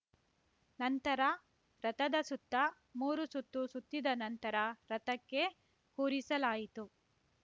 ನಂತರ ರಥದ ಸುತ್ತ ಮೂರು ಸುತ್ತು ಸುತ್ತಿದ ನಂತರ ರಥಕ್ಕೆ ಕೂರಿಸಲಾಯಿತು